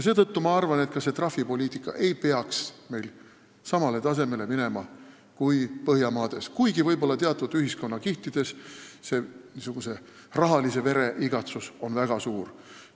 Seetõttu ma arvan, et ka trahvipoliitika ei peaks jõudma samale tasemele kui Põhjamaades, kuigi võib-olla teatud ühiskonnakihtides niisuguse rahalise vere igatsus on väga suur.